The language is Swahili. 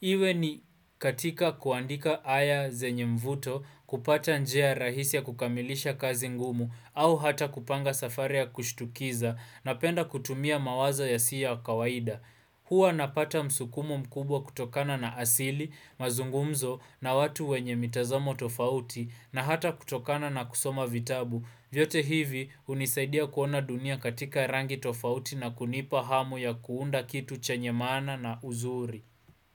Iwe ni katika kuandika aya zenye mvuto kupata njia rahisi ya kukamilisha kazi ngumu au hata kupanga safari ya kushtukiza napenda kutumia mawazo yasiyo ya kawaida. Hua napata msukumo mkubwa kutokana na asili, mazungumzo na watu wenye mitazamo tofauti na hata kutokana na kusoma vitabu. Vyote hivi hunisaidia kuona dunia katika rangi tofauti na kunipa hamu ya kuunda kitu chenye maana na uzuri.